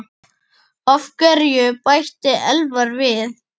Af hverju? bætti Elvar við.